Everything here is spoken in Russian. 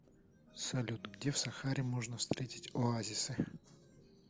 салют где в сахаре можно встретить оазисы